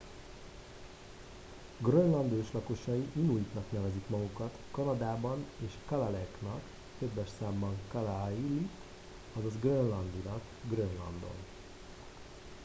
grönland őslakosai inuitnak nevezik magukat kanadában és kalaalleq-nak többes számban kalaallit azaz grönlandinak grönlandon